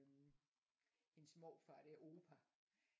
Hendes morfar der opa